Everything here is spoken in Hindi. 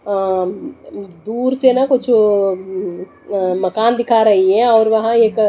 अम दुर से ना कुछ अम अ मकान दिखा रही है ओर वहा एक--